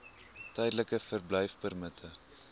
tydelike verblyfpermitte